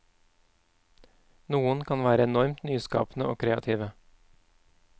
Noen kan være enormt nyskapende og kreative.